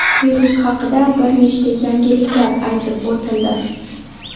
Virus haqida bir nechta yangiliklar aytib o‘tildi.